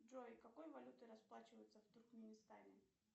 джой какой валютой расплачиваются в туркменистане